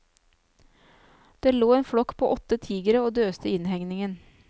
Det lå en flokk på åtte tigere og døste i innhegningen.